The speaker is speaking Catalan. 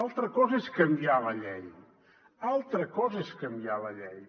altra cosa és canviar la llei altra cosa és canviar la llei